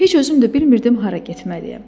Heç özüm də bilmirdim hara getməliyəm.